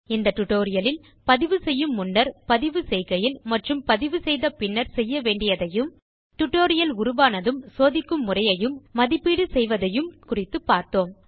இந்த டியூட்டோரியல் இல் பதிவு செய்யும் முன்னர் பதிவு செய்கையில்மற்றும் பதிவு செய்த பின்னர் செய்ய வேண்டியதையும் டியூட்டோரியல் உருவானதும் சோதிக்கும் முறையையும் மதிப்பீடு செய்வதையும் குறித்துப் பார்த்தோம்